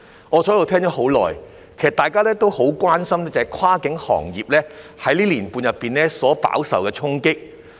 我坐着聆聽了很久，其實大家都很關心跨境運輸行業在這1年半所飽受的衝擊。